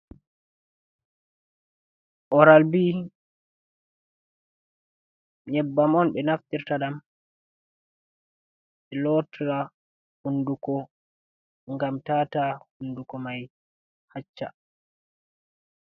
Oral bi nyebbam on be naftirta ɗam be lotta hunduko ngam tata hunduko mai hacca.